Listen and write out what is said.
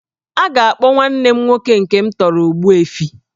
A ga-akpọ nwanne m nwoke nke m tọrọ 'Ogbuefi'